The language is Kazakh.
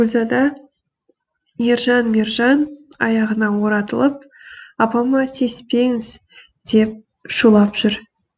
гүлзада ержан мержан аяғына оратылып апама тиіспеңіз деп шулап жүр